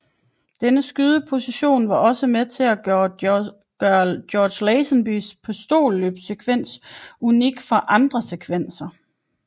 Denne skydeposition var også med til at gøre George Lazenbys pistolløbssekvens unik fra andre sekvenser